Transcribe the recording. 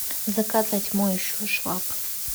заказать моющую швабру